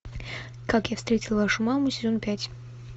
как я встретил вашу маму сезон пять